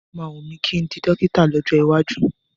Ó máa wùn mí kí n di dọ́kítà lọ́jọ́ iwájú.